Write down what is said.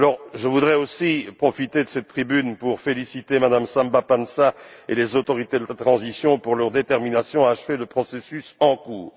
Je voudrais aussi profiter de cette tribune pour féliciter Mme Samba Panza et les autorités de transition pour leur détermination à achever le processus en cours.